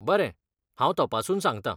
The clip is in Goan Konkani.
बरें, हांव तपासून सांगता!